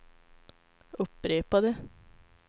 upprepade